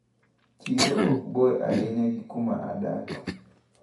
Chiro okbor ahinya gi kuma adake.